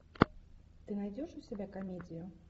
ты найдешь у себя комедию